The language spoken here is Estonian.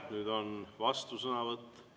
Nüüd on vastusõnavõtt.